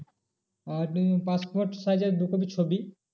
আর passport size এর দু copy ছবি।